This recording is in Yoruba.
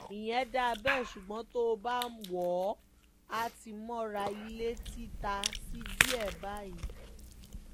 ìyẹn dáa bẹ́ẹ̀ ṣùgbọ́n tó o bá wò ó á ti mọra ilé ti ta sí i díẹ̀ báyìí